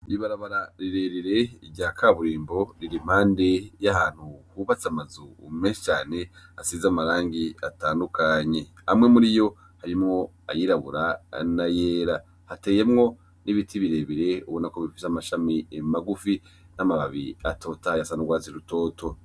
Ibarabara rirerire rya kaburimbo riri impande y'ahantu hubatse amazu menshi cane asize amarangi atandukanye. Amwe muri yo arimwo ayirabura n'ayera. Hateyemwo n'ibiti birebire ubona ko bifise amashami magufi n'amababi atotahaye asa n'urwatsi rutoto.